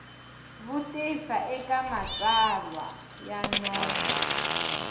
vutisa eka matsalwa ya nomo